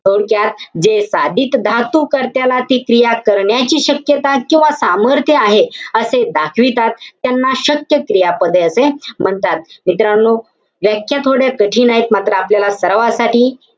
थोडक्यात, जे साधित धातू कर्त्याला ती क्रिया करण्याची शक्यता किंवा सामर्थ्य आहे. असे दाखवितात. त्यांना शक्य क्रियापदे असे म्हणतात. मित्रांनो, व्याख्या थोड्या कठीण आहेत. मात्र, आपल्याला सरावासाठी,